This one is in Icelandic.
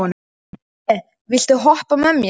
Kristine, viltu hoppa með mér?